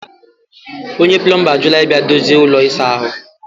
onye plọmba ajụla ịbịa dozie ụlọ ịsa ahụ